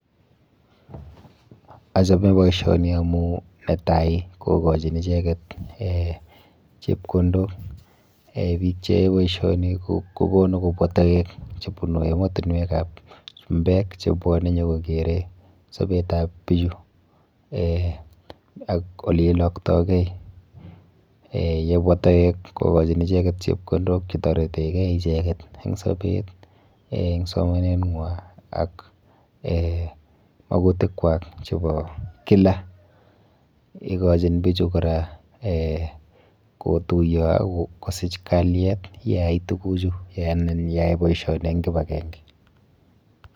Achome boisioni amu netai kokochin icheket eh chepkondok. Eh biik cheyoe boisioni kokonu kobwa toek chebunu emotinwekap chumbek chebwone nyokokere sobetap bichu eh ak oleiloktokei. Eh yebwa toek kokochin icheket chepkondok chetoretekei icheket eng sobet, eng somanenwa ak eh makutikwa chepo kila . Ikochin bichu kora eh kotuiyo ak kosich kaliet yeyai tukuchu anan yeyai boisioni eng kipakenke.